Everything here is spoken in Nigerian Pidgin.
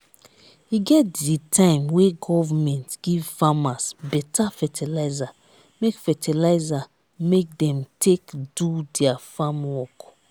e get di time wey government give farmers beta fertilizer make fertilizer make dem take do their farm work.